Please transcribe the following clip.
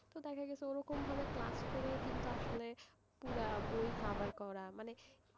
তো দেখা গেছে ওরম ভাবে class করে কিন্তু আসলে পুরো বই cover করা মানে,